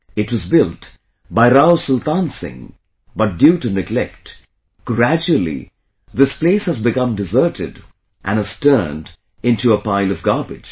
It was built by Rao Sultan Singh, but due to neglect, gradually this place has become deserted and has turned into a pile of garbage